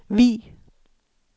Vig